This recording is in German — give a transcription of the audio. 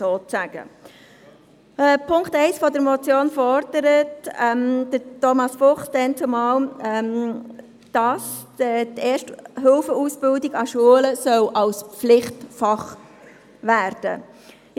Thomas Fuchs hat in Punkt 1 gefordert, dass die Erste-Hilfe-Ausbildung an Schulen Pflichtfach werden soll.